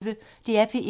DR P1